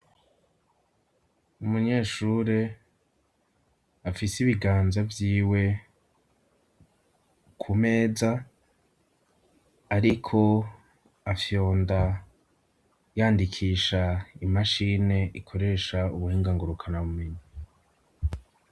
Umunyeshure, afise ibiganza vyiwe ku meza, ariko afyonda yandikisha imashini ikoresha ubuhinga ngurukanabumenyi.